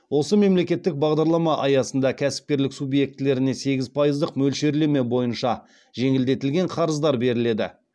осы мемлекеттік бағдарлама аясында кәсіпкерлік субъектілеріне сегіз пайыздық мөлшерлеме бойынша жеңілдетілген қарыздар беріледі